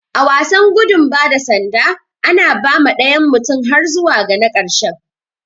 A wasan gudu bada sanda, ana ba ma dayan mutum har zuwa ga na karshen.